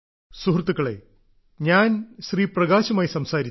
സുഹൃത്തുക്കളേ ഞാൻ ശ്രീ പ്രകാശുമായി സംസാരിച്ചു